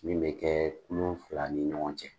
Min bɛ kɛ kulun fila ni ɲɔgɔn cɛ